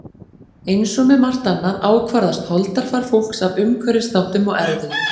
Eins og með margt annað ákvarðast holdafar fólks af umhverfisþáttum og erfðum.